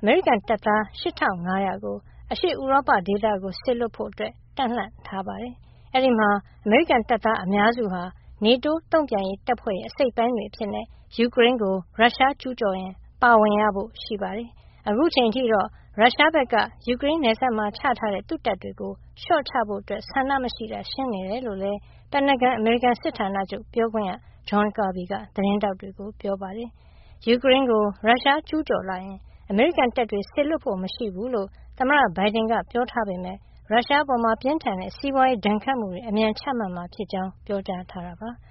အမေရိကန်တပ်သား ၈၅၀၀ ကို အရှေ့ဥရောပဒေသကို စေလွှတ်ဖို့ တပ်လှန့်ထားပါတယ်။ အဲဒီမှာ အမေရိကန်တပ်သားအများစုဟာ NATO တုန့်ပြန်ရေးတပ်ဖွဲ့ရဲ့ အစိတ်အပိုင်းတွေ အဖြစ် ယူကရိန်းကို ရုရှားကျူးကျော်လာရင် ပါဝင်ရဖို့ ရှိပါတယ်။ အခုအချိန်အထိတော့ ရုရှားဘက်က ယူကရိန်းနယ်စပ်မှာ ချထားတဲ့ သူ့တပ်တွေကို လျှော့ချဖို့ဆန္ဒမရှိတာ ရှင်းနေတယ်လို့လည်း ပင်တာဂွန် အမေရိကန်စစ်ဌာနချုပ်ပြောခွင့်ရ John Kirby က သတင်းထောက်တွေကို ပြောပါတယ်။ ယူကရိန်းကိုရုရှားကျူးကျော်လာရင် အမေရိကန်တပ်တွေ စေလွှတ်ဖို့ မရှိဘူးလို့ သမ္မတဘိုင်ဒန်က ပြောထားပေမယ့် ရုရှားအပေါ် ပြင်းထန်တဲ့ စီးပွါးရေးဒဏ်ခတ်မှုတွေ အမြန်ချမှတ်မှာ ဖြစ်ကြောင်း ပြောကြားထားတာပါ။